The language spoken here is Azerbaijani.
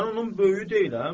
Mən onun böyüyü deyiləm?